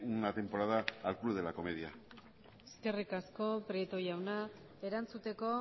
una temporada al club de la comedia eskerrik asko prieto jauna erantzuteko